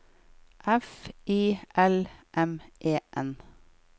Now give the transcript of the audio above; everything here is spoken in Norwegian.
F I L M E N